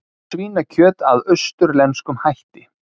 Svínakjöt að austurlenskum hætti